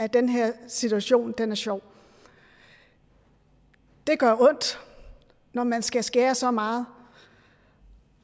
at den her situation er sjov det gør ondt når man skal skære så meget